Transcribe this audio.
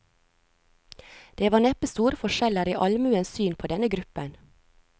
Det var neppe store forskjeller i allmuens syn på denne gruppen.